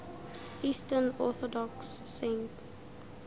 eastern orthodox saints